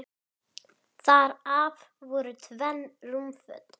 Annars stefni í óefni.